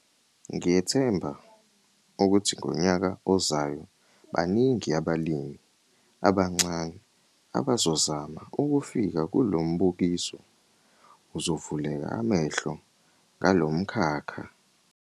Ngiyethemba ukuthi ngonyaka ozayo baningi abalimi abancane abazozama ukufika kulo mbukiso - uzovuleka amehlo ngalo mkhakha.